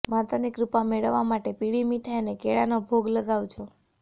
માતાની કૃપા મેળવવા માટે પીળી મિઠાઈ અને કેળાનો ભોગ લગાવજો